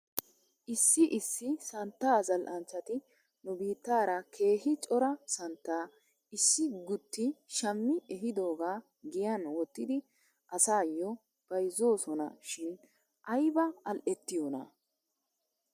Issi issi santtaa zal'anchchati nu biittaara keehi cora santtaa issi guutti shammi ehidoogaa giyan wottidi asaayyo bayzoosona shin ayba al"ettiyoonaa?